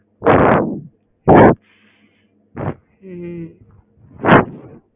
ம்ம்